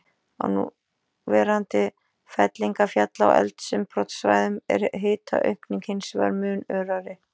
Á núverandi fellingafjalla- og eldsumbrotasvæðum er hitaaukningin hins vegar mun örari.